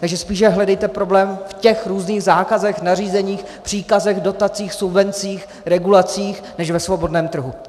Takže spíše hledejte problém v těch různých zákazech, nařízeních, příkazech, dotacích, subvencích, regulacích než ve svobodném trhu.